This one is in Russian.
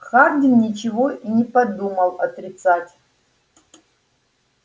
хардин ничего и не подумал отрицать